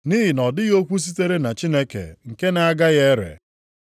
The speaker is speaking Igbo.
Nʼihi na ọ dịghị okwu sitere na Chineke nke na-agaghị ere.”